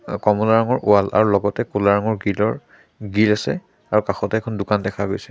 অ কমলা ৰঙৰ ৱাল আৰু কোলা ৰঙৰ গ্ৰিল ৰ গেট আছে আৰু কাষতে এখন দোকান দেখা গৈছে।